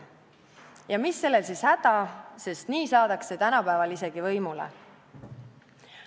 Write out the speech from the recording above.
Ja mis sellel siis häda on – nii saadakse tänapäeval isegi võimule.